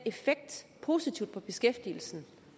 positive effekt på beskæftigelsen